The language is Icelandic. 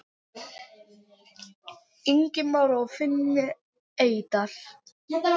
Ingimar og Finni Eydal.